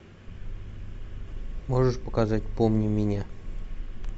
можешь показать помни меня